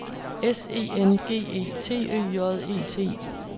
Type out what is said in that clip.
S E N G E T Ø J E T